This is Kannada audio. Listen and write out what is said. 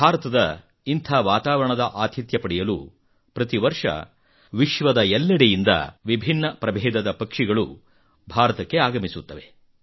ಭಾರತದ ಇಂಥ ವಾತಾವರಣದ ಆತಿಥ್ಯ ಪಡೆಯಲು ಪ್ರತಿ ವರ್ಷ ವಿಶ್ವದಾದ್ಯಂತದಿಂದ ವಿಭಿನ್ನ ಪ್ರಭೇದದ ಪಕ್ಷಿಗಳು ಭಾರತಕ್ಕೆ ಆಗಮಿಸುತ್ತವೆ